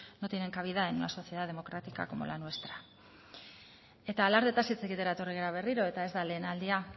no tienen cabida en una sociedad democrática como la nuestra eta alardeetaz hitz egitera etorri gara berriro eta ez da lehen aldia